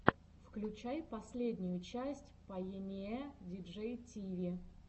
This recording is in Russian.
включай последнюю часть пайэниэ диджей тиви